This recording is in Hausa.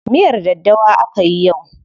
Miyar daddawa akayi yau.